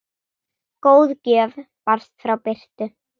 Góð gjöf barst frá Birtu.